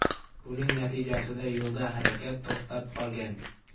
Buning natijasida yo‘lda harakat to‘xtab qolgan.